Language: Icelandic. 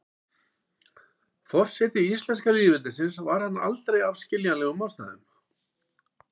forseti íslenska lýðveldisins var hann aldrei af skiljanlegum ástæðum